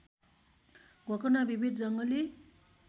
गोकर्ण विविध जङ्गली